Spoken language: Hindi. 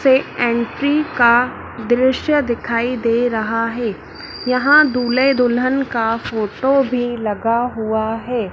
से एंट्री का दृश्य दिखाई दे रहा है यहां दूल्हे दुल्हन का फोटो भी लगा हुआ है।